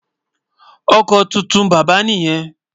Ọkọ tóótọ ni bàbá niyen.